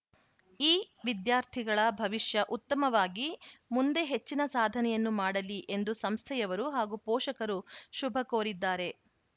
ಈ ವಿದ್ಯಾರ್ಥಿಗಳ ಭವಿಷ್ಯ ಉತ್ತಮವಾಗಿ ಮುಂದೆ ಹೆಚ್ಚಿನ ಸಾಧನೆಯನ್ನು ಮಾಡಲಿ ಎಂದು ಸಂಸ್ಥೆಯವರು ಹಾಗೂ ಪೋಷಕರು ಶುಭ ಕೋರಿದ್ದಾರೆ